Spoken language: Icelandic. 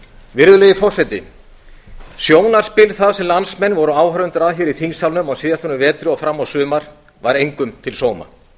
virðulegi forseti sjónarspil það sem landsmenn voru áhorfendur að hér í þingsalnum á síðastliðnum vetri og fram á sumar var engum til sóma